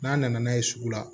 N'a nana n'a ye sugu la